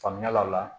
Faamuya la o la